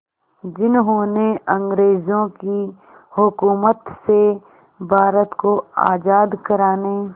जिन्होंने अंग्रेज़ों की हुकूमत से भारत को आज़ाद कराने